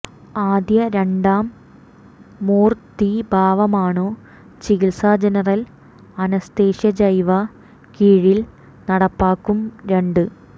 ആദ്യ രണ്ടാം മൂർത്തീഭാവമാണു് ചികിത്സ ജനറൽ അനസ്തേഷ്യ ജൈവ കീഴിൽ നടപ്പാകും രണ്ട്